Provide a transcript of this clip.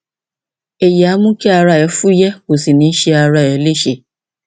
èyí á mú kí ara rẹ fúyẹ kò sì ní ṣe ara rẹ léṣe